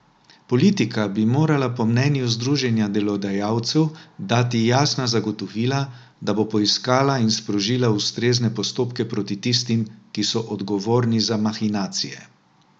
Politika bi morala po mnenju združenja delodajalcev dati jasna zagotovila, da bo poiskala in sprožila ustrezne postopke proti tistim, ki so odgovorni za mahinacije.